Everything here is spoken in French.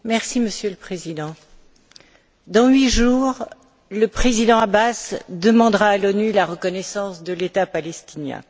Monsieur le Président, dans huit jours, le président Abbas demandera à l'ONU la reconnaissance de l'État palestinien.